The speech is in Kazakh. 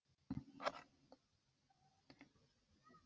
бұл спорт түріне қызықпайтындардың айтатын сөзі біреу ғана